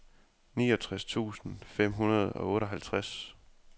niogtres tusind fem hundrede og otteoghalvtreds